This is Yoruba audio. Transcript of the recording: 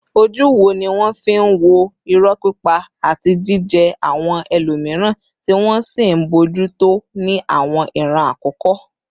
Ojú wo ni wọ́n fi ń wo irọ́ pípa àti jíjẹ́ àwọn ẹlòmíràn, tí wọ́n sì ń bójú tó ní àwọn ìran àkọ́kọ́?